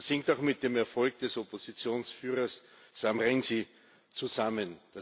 Das hängt auch mit dem Erfolg des Oppositionsführers Sam Rainsy zusammen.